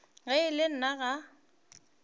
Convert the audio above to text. ge e le nna ga